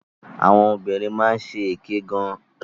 Àwọn obìnrin máa ń ṣèké gan.